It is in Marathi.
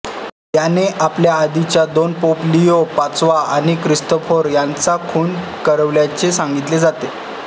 याने आपल्या आधीच्या दोन पोप लिओ पाचवा आणि क्रिस्तोफर यांचा खून करविल्याचे सांगितले जाते